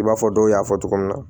I b'a fɔ dɔw y'a fɔ cogo min na